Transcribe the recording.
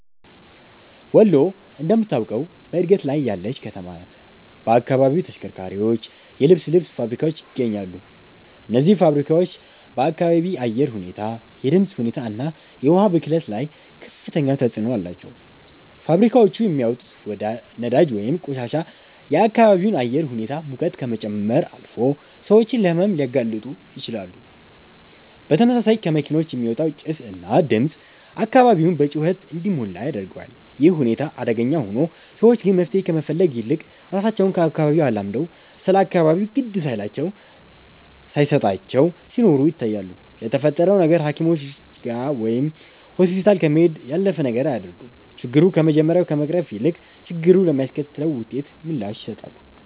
ወሎ እንደምታውቀው በእድገት ላይ ያለች ከተማ ናት። በአካባቢው ተሽከርካሪዎች፣ የልብስ ልብስ ፋብሪካዎች ይገኛሉ። እነዚህ ፋብሪካዎች በአካባቢ አየር ሁኔታ፣ የድምፅ ሁኔታ እና የውሃ ብክለት ላይ ከፍተኛ ተጽዕኖ አላቸው። ፋብሪካዎቹ የሚያወጡት ወዳጅ ወይንም ቆሻሻ የአካባቢውን አየር ሁኔታ ሙቀት ከመጨመር አልፎ ሰዎችን ለሕመም ሊያጋልጡ ይችላሉ። በተመሳሳይ ከመኪኖች የሚወጣው ጭስ እና ድምፅ አካባቢውን በጩኸት እንዲሞላ ያደርገዋል። ይህ ሁኔታ አደገኛ ሆኖ፣ ሰዎች ግን መፍትሄ ከመፈለግ ይልቅ ራሳቸው ከአካባቢው አላምደው ስለ አካባቢው ግድ ሳይላቸው ሳየሰጣቸው ሲኖሩ ይታያሉ። ለተፈጠረው ነገር ሃኪሞችጋ ወይም ሆስፒታል ከመሄድ ያለፈ ነገር አያደርጉም። ችግሩ ከመጀመሪያ ከመቅረፍ ይልቅ፣ ችግሩ ለሚያስከትለው ውጤት ምላሽ ይሰጣሉ